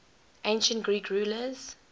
ancient greek rulers